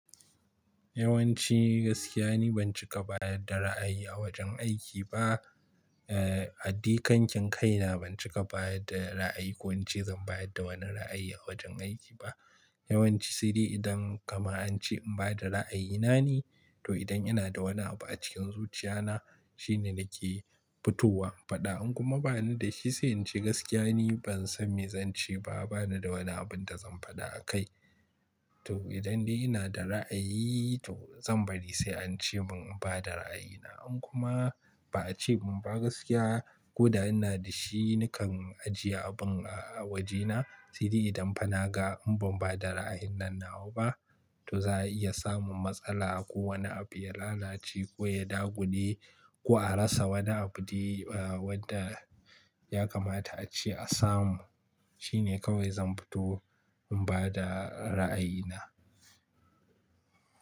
Yawanci gaskiya ni ban cika bayar da ra'ayi a wajen aiki ba. Eh, a dai kankin kaina ban cika bayar da ra'ayi ko in ce zan bayar da wani ra'ayi a wajen aiki ba. Yawanci sai dai idan kamar an ce in ba da ra'ayina ne, to idan ina da wani abu a cikin zuciyana shine nake fitowa. Faɗa in kuma ba ni da shi sai in ce gaskiya ni ban san me zan ce ba, ba ni da wani abin da zan faɗa a kai. To idan dai ina da ra'ayi to zan bari sai an ce mun in ba da ra'ayina. In kuma ba a ce mun ba gaskiya ko da ina da shi nakan ajiye abun a wajena. Saidai idan fa na ga in ban ba da ra'ayin nan nawa ba to za a iya samun matsala ko wani abu ya lalace ko ya dagule ko a rasa wani abu dai wadda ya kamata a ce a samu. Shine kawai zan fito in ba da ra'ayina.